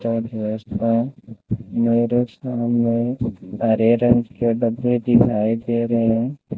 मेरे सामने हरे रंग के डब्बे दिखाई दे रहे हैं।